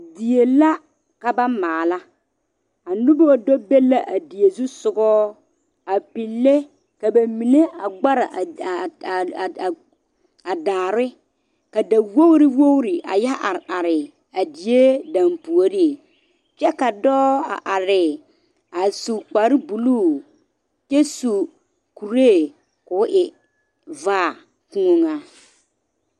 Die la ka ba maale ka noba do be la a die zu soga a pigle ka ba mine a gbare a a a daare ka da wogi wogi yɛ are are a die danpuori kyɛ ka dɔɔ a are a su kpare buluu kyɛ su kuri ko'o e vaa kpoŋa.